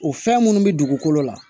O fɛn minnu bɛ dugukolo la